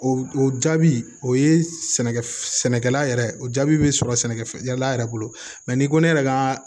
O o jaabi o ye sɛnɛkɛ sɛnɛkɛla yɛrɛ o jaabi bɛ sɔrɔ sɛnɛkɛfɛn yala yɛrɛ bolo mɛ n'i ko ne yɛrɛ ka